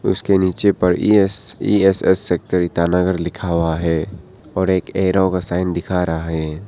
उसके नीचे पर ईश ई_एस_एस सेक्टर ईटानगर लिखा हुआ है और एक एरो का साइन दिख रहा है।